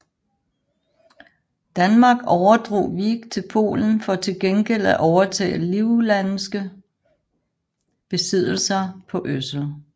Danmark overdrog Wiek til Polen for til gengæld at overtage livlandske besiddelser på Øsel